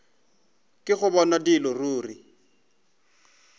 ke go bona dilo ruri